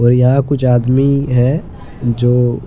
और यहां कुछ आदमी हैं जो--